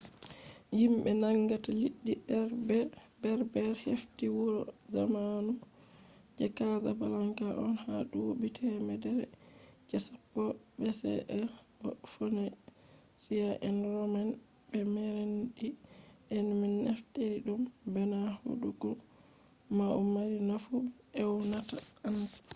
yimbe nangata liɗɗi berber hefti wuro zamanu je casablanca on ha duuɓi temere je sappo bce bo phoenicia'en roma'en be merenid'en man naftiri ɗum bana hunduko mayo mari nafu be ewnata anfa